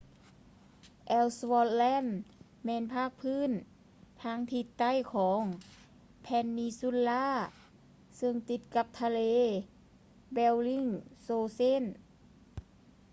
ແອວສະວອດ ແລນ ellsworth land ແມ່ນພາກພື້ນທາງທິດໃຕ້ຂອງ ເພນນີຊູນລາ peninsula ຊຶ່ງຕິດກັບທະເລ ແບວລິງໂຊເຊນ bellingshausen